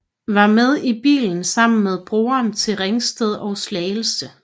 Var med i bilen sammen med broren til Ringsted og Slagelse